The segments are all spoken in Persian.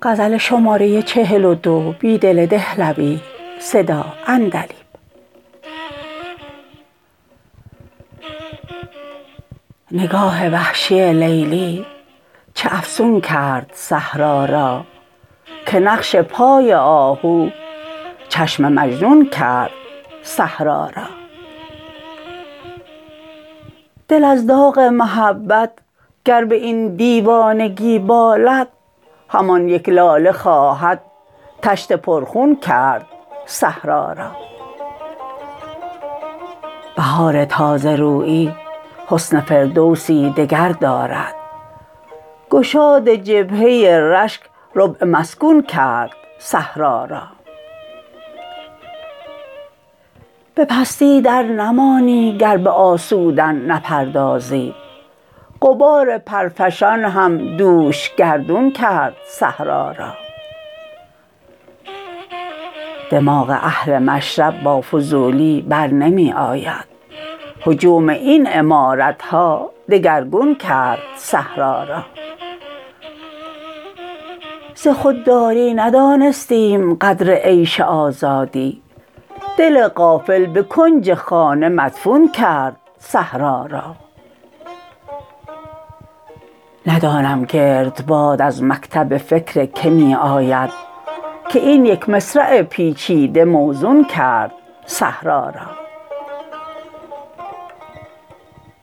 نگاه وحشی لیلی چه افسون کرد صحرا را که نقش پای آهو چشم مجنون کرد صحرا را دل از داغ محبت گر به این دیوانگی بالد همان یک لاله خواهد تشت پرخون کرد صحرا را بهار تازه رویی حسن فردوسی دگر دارد گشاد جبهه رشک ربع مسکون کرد صحرا را به پستی درنمانی گر به آسودن نپردازی غبار پرفشان هم دوش گردون کرد صحرا را دماغ اهل مشرب با فضولی برنمی آید هجوم این عمارت ها دگرگون کرد صحرا را ز خودداری ندانستیم قدر عیش آزادی دل غافل به کنج خانه مدفون کرد صحرا را ندانم گردباد از مکتب فکر که می آید که این یک مصرع پیچیده موزون کرد صحرا را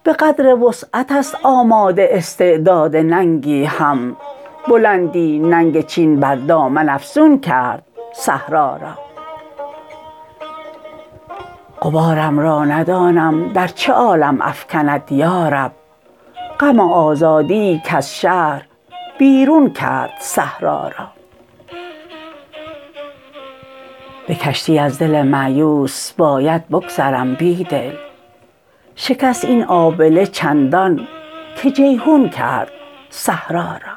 به قدر وسعت است آماده استعداد ننگی هم بلندی ننگ چین بر دامن افزون کرد صحرا را غبارم را ندانم در چه عالم افکند یا رب غم آزادی ای کز شهر بیرون کرد صحرا را به کشتی از دل مأیوس باید بگذرم بیدل شکست این آبله چندان که جیحون کرد صحرا را